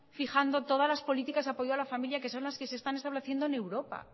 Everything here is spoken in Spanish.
fijando todas las políticas de apoyo a la familia que son las que se están estableciendo en europa